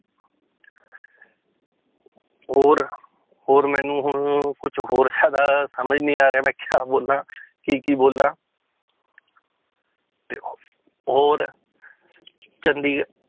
ਹੋਰ ਹੋਰ ਮੈਨੂੰ ਹੁਣ ਕੁਛ ਹੋਰ ਜ਼ਿਆਦਾ ਸਮਝ ਨੀ ਆ ਰਿਹਾ ਮੈਂ ਕਿਆ ਬੋਲਾਂ ਕੀ ਕੀ ਬੋਲਾਂ ਹੋਰ ਚੰਡੀਗ~